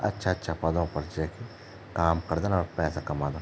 अच्छा अच्छा पदों पर जेकी काम करदन और पैसा कमादन।